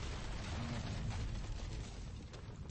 рина леонидовна петрова